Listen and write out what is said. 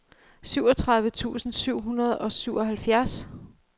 syvogtredive tusind syv hundrede og syvoghalvfjerds